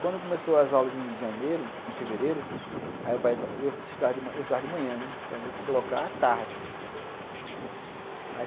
Quando começaram as aulas em janeiro, em fevereiro, aí o pai falou assim, eu estudar de manhã, né, então eu vou te colocar à tarde.